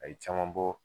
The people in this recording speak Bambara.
A ye caman bɔ